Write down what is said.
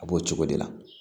A b'o cogo de la